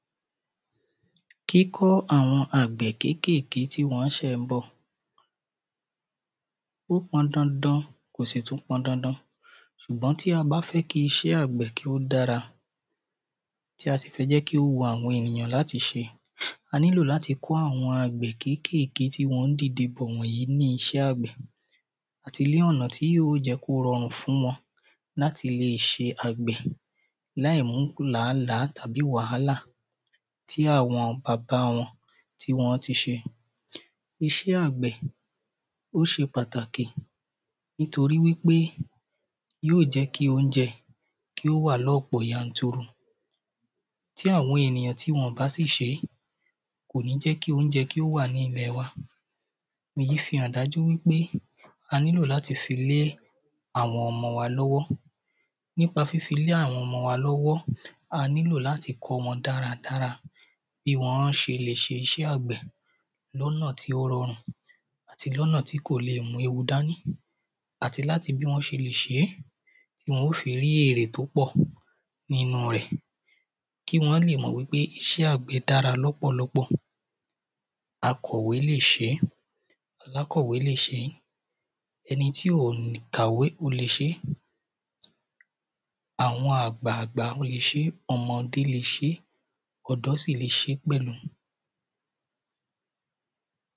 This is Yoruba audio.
Kíkọ́ àwọn àgbẹ̀ kékèké tí wọ́n ṣè ń bọ̀. Ó pọn dandan kò sì tún pọn dandan ṣùgbọ́n tí a bá fẹ́ kí iṣẹ́ àgbẹ̀ kí ó dára tí a sì fẹ́ jẹ́ kí o wu àwọn èyàn láti ṣe a nílò láti kọ́ àwọn àgbẹ̀ kékèké tí wọ́n ń dìde bọ̀ wọ̀nyí ní iṣẹ́ àgbẹ̀. Àti lí ọ̀nà tí yó jẹ́ kó rọrùn fún wọn láti le ṣe àgbẹ̀ láì mú làálàá tàbí wàhálà tí àwọn bàbá wọn tí wọ́n ti ṣe. Iṣẹ́ àgbẹ̀ ó ṣe pàtàkì nítorí wípé yóò jẹ́ kí óúnjẹ kí ó wà lọ́pọ̀ yanturu. Tí àwọn ènìyàn tí wọn bá sì ṣé kò ní jẹ́ kí óúnjẹ kí ó wà ní ilẹ̀ wa. Èyí fi hàn dájú wípé a nílò láti fi lé àwọn ọmọ wa lọ́wọ́. Nípa fífi lé àwọn ọmọ wa lọ́wọ́ a nílò láti kọ́ wọn dára dára bí wọ́n ṣe lè ṣiṣẹ́ àgbẹ̀ lọ́nà tí ó rọrùn àti lọ́nà tí kò le mú ewu dání. Àti láti bí wọ́n ṣe le è ṣé tí wọn ó fi rí èrè tó pọ̀ nínú rẹ̀. Kí wọ́n lè mọ̀ wípé iṣẹ́ àgbẹ̀ dára lọ́pọ̀lọpọ̀. Akọ̀wé lè ṣé alákọ̀wé lè ṣé ẹni tí ò kàwé ó le ṣé àwọn àgbà àgbà ó lè ṣé ọmọdé lè ṣé ọ̀dọ́ sì le ṣé pẹ̀lú.